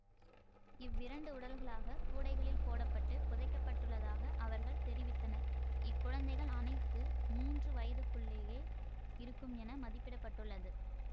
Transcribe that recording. இவ்விரண்டு உடல்களாக கூடைகளில் போட பட்டு புதைக்கப்பட்டுள்ளதாக அவர்கள் தெரிவித்தனர் இக்குழந்தைகள் அனைத்து மூன்று வயதுக்குள்ளேயே இருக்கும் என மதிப்பிட பட்டுள்ளது